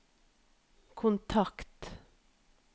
kontakt